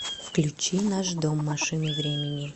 включи наш дом машины времени